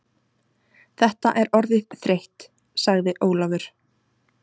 Þetta er orðið þreytt, sagði Ólafur.